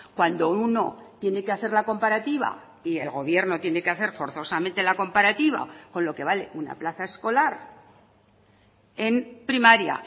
cuando uno tiene que hacer la comparativa y el gobierno tiene que hacer forzosamente la comparativa con lo que vale una plaza escolar en primaria